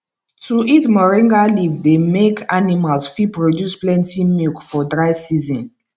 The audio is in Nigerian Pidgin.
to eat moringa leave dey make animals fit produce plenty milk for dry season